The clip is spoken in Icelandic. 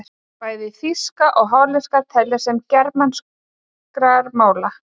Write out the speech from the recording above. Bæði þýska og hollenska teljast til germanskra mála.